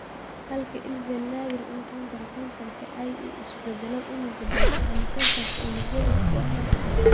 Halka ILVEN naadir uu noqon karo kansar (ie, isu beddelo unugga basal ama kansarka unugyada squamous cell).